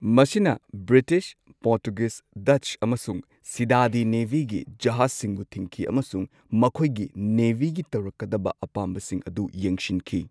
ꯃꯁꯤꯅ British, Portuguese, Dutch ꯑꯃꯁꯨꯡ ꯁꯤꯗꯗꯤ ꯅꯦꯚꯤꯒꯤ ꯖꯍꯥꯖꯁꯤꯡꯕꯨ ꯊꯤꯡꯈꯤ ꯑꯃꯁꯨꯡ ꯃꯈꯣꯏꯒꯤ ꯅꯦꯚꯤꯒꯤ ꯇꯧꯔꯛꯀꯗꯕ ꯑꯄꯥꯝꯕꯁꯤꯡ ꯑꯗꯨ ꯌꯦꯡꯁꯤꯟꯈꯤ꯫